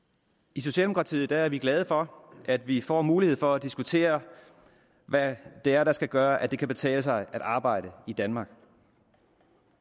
i socialdemokratiet er vi glade for at vi får mulighed for at diskutere hvad det er der skal gøre at det kan betale sig at arbejde i danmark